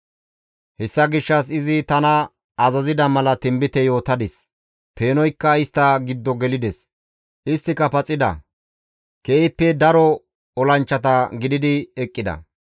Hessa gishshas izi tana azazida mala tinbite yootadis; peenoykka istta giddo gelides; isttika paxida; keehippe daro olanchchata gididi eqqida.